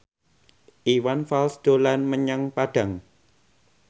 Iwan Fals dolan menyang Padang